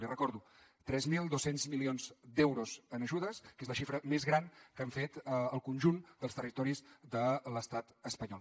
li recordo tres mil dos cents milions d’euros en ajudes que és la xifra més gran que han fet el conjunt dels territoris de l’estat espanyol